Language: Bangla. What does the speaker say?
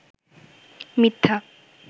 মিথ্যা